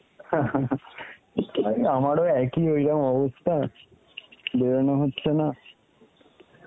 আরে আমারও একই ওইরম অবস্থা বেড়ানো হচ্ছে না